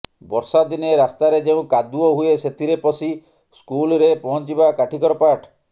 ବର୍ଷାଦିନେ ରାସ୍ତାରେ ଯେଉଁ କାଦୁଅ ହୁଏ ସେଥିରେ ପଶି ସ୍କୁଲ୍ରେ ପହଞ୍ଚିବା କାଠିକର ପାଠ